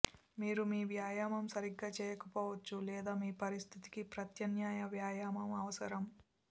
మీరు మీ వ్యాయామం సరిగ్గా చేయకపోవచ్చు లేదా మీ పరిస్థితికి ప్రత్యామ్నాయ వ్యాయామం అవసరం